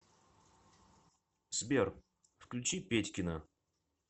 сбер включи петькино